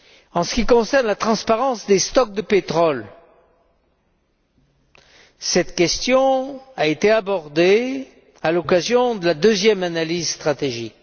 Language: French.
En ce qui concerne la transparence des stocks de pétrole, cette question a été abordée à l'occasion de la deuxième analyse stratégique.